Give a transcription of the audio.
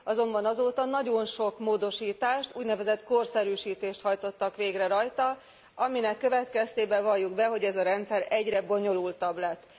Azonban azóta nagyon sok módosítást, úgynevezett korszerűsítést hajtottak végre rajta, aminek következtében valljuk be, hogy ez a rendszer egyre bonyolultabb lett.